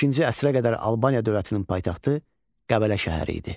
Beşinci əsrə qədər Albaniya dövlətinin paytaxtı Qəbələ şəhəri idi.